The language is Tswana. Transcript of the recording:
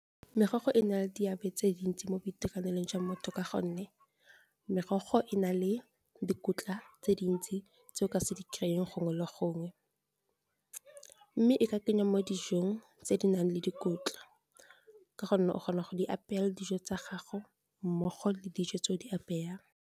Merogo e na le diabe tse dintsi mo boitekanelong jwa motho ka gonne merogo e na le dikotla tse dintsi tse o ka se di kry-eng gongwe le gongwe mme e ka kenya mo dijong tse di nang le dikotla ka gonne o kgona go di apaya dijo tsa gago mmogo le dijo tse o di apayang.